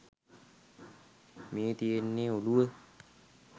මේ තියෙන්නේ ඔළුව